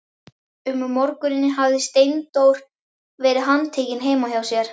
Um morguninn hafði Steindór verið handtekinn heima hjá sér.